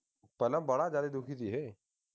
ਪਹਿਲਾਂ ਬਾੜਾ ਜਿਆਦਾ ਦੁੱਖੀ ਸੀ ਇਹ